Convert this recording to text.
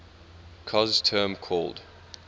cos term called